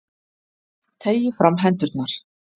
Teygi fram hendurnar.